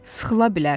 Sıxıla bilər.